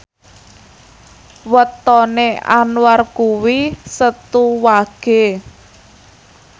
wetone Anwar kuwi Setu Wage